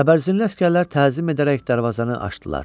Təbərzinli əsgərlər təzim edərək darvazanı açdılar.